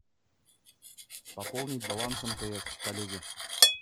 пополнить баланс мтс коллеге